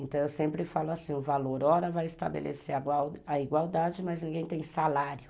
Então, eu sempre falo assim, o valor hora vai estabelecer a igualdade, mas ninguém tem salário.